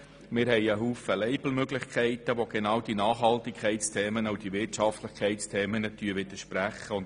Wir haben viele Label-Möglichkeiten, welche die Themen der Nachhaltigkeit und der Wirtschaftlichkeit widerspiegeln.